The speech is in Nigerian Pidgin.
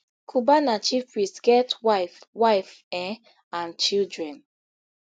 cubana chief priest get wife wife um and children